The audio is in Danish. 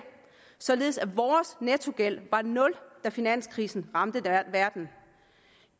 således at vores nettogæld var nul da finanskrisen ramte verden